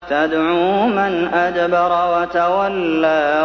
تَدْعُو مَنْ أَدْبَرَ وَتَوَلَّىٰ